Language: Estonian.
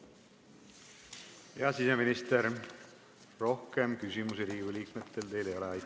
Hea siseminister, rohkem küsimusi Riigikogu liikmetel teile ei ole.